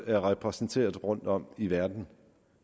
er repræsenteret rundtom i verden